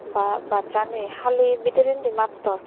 baa bassani hali bidirendi mattor.